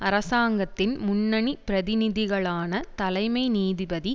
அரசாங்கத்தின் முன்னணி பிரதிநிதிகளான தலைமை நீதிபதி